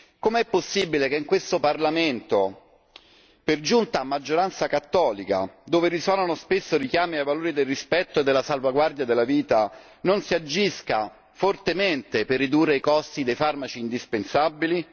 Com'è possibile che in questo Parlamento per giunta a maggioranza cattolica, dove risuonano spesso richiami ai valori del rispetto e della salvaguardia della vita, non si agisca fortemente per ridurre i costi dei farmaci indispensabili?